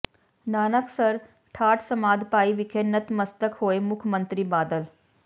ਨਾਨਕਸਰ ਠਾਠ ਸਮਾਧ ਭਾਈ ਵਿਖੇ ਨਤਮਸਤਕ ਹੋਏ ਮੁੱਖ ਮੰਤਰੀ ਬਾਦਲ